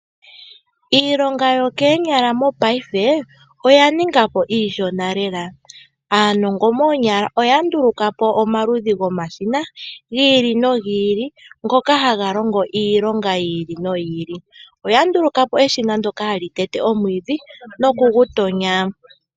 Iilonga yokoonyala mopaife oya ninga po iishona lela. Aanongo moonyala oya ndulukapo omaludhi gomashina giili nogiili , ngoka haga longo iilonga yiili noyili . Oya ndulukapo eshina ndyoka hali tete omwiidhi nokugu tonya.